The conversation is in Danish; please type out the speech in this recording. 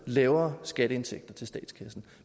lavere skatteindtægter til statskassen